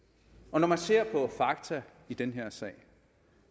når man ser på fakta i den her sag